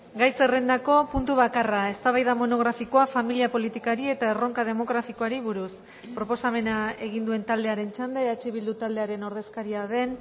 gai zerrendako puntu bakarra eztabaida monografikoa familia politikari eta erronka demografikoari buruz proposamena egin duen taldearen txanda eh bildu taldearen ordezkaria den